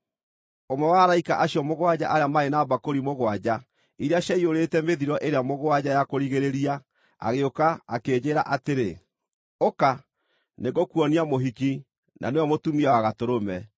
Ũmwe wa araika acio mũgwanja arĩa maarĩ na mbakũri mũgwanja iria ciaiyũrĩte mĩthiro ĩrĩa mũgwanja ya kũrigĩrĩria agĩũka, akĩnjĩĩra atĩrĩ, “Ũka, nĩngũkuonia mũhiki, na nĩwe mũtumia wa Gatũrũme.”